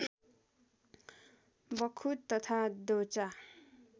बख्खु तथा दोचा